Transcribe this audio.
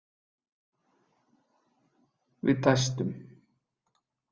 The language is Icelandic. Við dæstum.